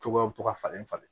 Cogoyaw bɛ to ka falen falen